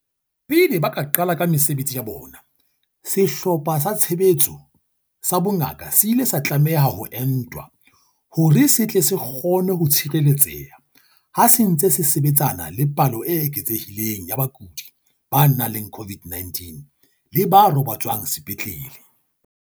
Pele ba ka qala ka mesebetsi ya bona, Sehlopha sa Tshebetso sa Bongaka se ile sa tlameha ho entwa hore se tle se kgone ho tshireletseha ha se ntse se sebetsana le palo e eketsehileng ya bakudi ba nang le COVID-19 le ba robatswang sepetlele.